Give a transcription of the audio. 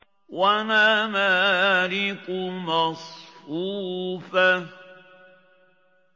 وَنَمَارِقُ مَصْفُوفَةٌ